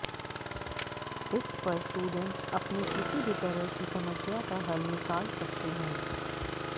इस पर स्टूडेंट्स अपनी किसी भी तरह की समस्या का हल निकाल सकते हैं